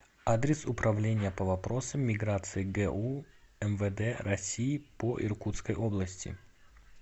адрес управление по вопросам миграции гу мвд россии по иркутской области